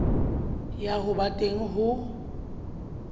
ya ho ba teng ho